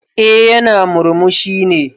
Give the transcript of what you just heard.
Eh yana murmushi ne.